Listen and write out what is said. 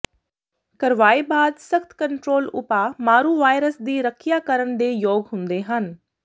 ਕਰਵਾਏ ਬਾਅਦ ਸਖਤ ਕੰਟਰੋਲ ਉਪਾਅ ਮਾਰੂ ਵਾਇਰਸ ਦੀ ਰੱਖਿਆ ਕਰਨ ਦੇ ਯੋਗ ਹੁੰਦੇ ਹਨ